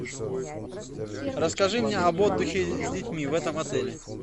расскажи мне об отдыхе с детьми в этом отеле